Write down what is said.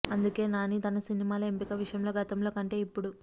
అందుకే నాని తన సినిమాల ఎంపిక విషయంలో గతంలో కంటే ఇప్పుడు